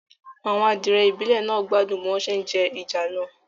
Àwọn adìẹ ìbílẹ̀ náà gbádùn bí wọ́n se jẹ ìjàlọ